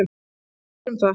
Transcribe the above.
Hann sér um það.